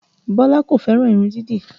Bọlá kò fẹ́ràn irun dídì